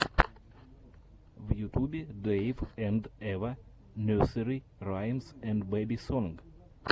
в ютубе дэйв энд эва нерсери раймс энд бэби сонг